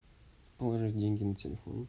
положить деньги на телефон